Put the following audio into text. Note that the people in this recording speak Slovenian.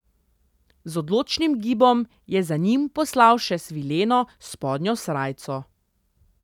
Z odločnim gibom je za njim poslal še svileno spodnjo srajco.